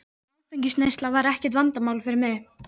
Áfengisneysla var ekkert vandamál fyrir mig.